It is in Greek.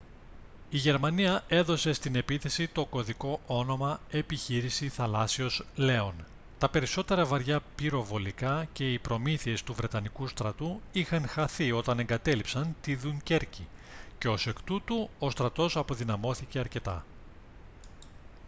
η γερμανία έδωσε στην επίθεση το κωδικό όνομα «επιχείρηση θαλάσσιος λέων». τα περισσότερα βαριά πυροβολικά και οι προμήθειες του βρετανικού στρατού είχαν χαθεί όταν εγκατέλειψαν τη δουνκέρκη και ως εκ τούτου ο στρατός αποδυναμώθηκε αρκετά